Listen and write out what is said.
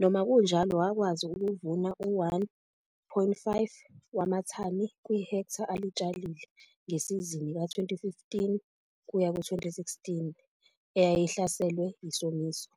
noma kunjalo wakwazi ukuvuna u-1,5 wamathani kwi-hektha alitshalile ngesizini ka-2015 kuya ku-2016 eyayihlaselwe yisomiso.